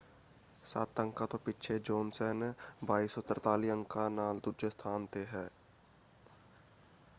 ਸੱਤ ਅੰਕਾਂ ਤੋਂ ਪਿੱਛੇ ਜੋਨਸਨ 2,243 ਅੰਕਾਂ ਨਾਲ ਦੂਜੇ ਸਥਾਨ ‘ਤੇ ਹੈ।